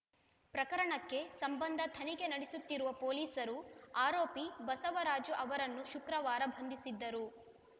ಪ್ರಕರಣಕ್ಕೆ ಸಂಬಂಧ ತನಿಖೆ ನಡೆಸುತ್ತಿರುವ ಪೊಲೀಸರು ಆರೋಪಿ ಬಸವರಾಜು ಅವರನ್ನು ಶುಕ್ರವಾರ ಬಂಧಿಸಿದ್ದರು